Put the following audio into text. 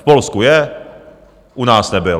V Polsku je, u nás nebyl.